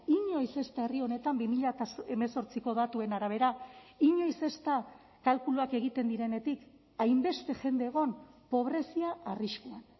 inoiz ez da herri honetan bi mila hemezortziko datuen arabera inoiz ez da kalkuluak egiten direnetik hainbeste jende egon pobrezia arriskuan